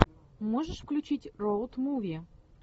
можешь включить роуд муви